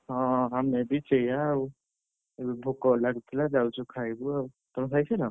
ହଁ ଆମେ ବି ସେୟା ଆଉ ଏବେ ଭୋକ ଲାଗୁଥିଲା ଯାଉଛୁ ଖାଇବୁ ଆଉ, ତମେ ଖାଇ ସାଇଁଲ?